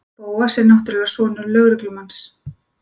Bóas er náttúrlega sonur lögreglumanns.